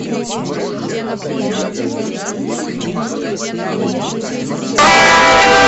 можешь показать сериал приключения джимми нейтрона мальчика гения шестой сезон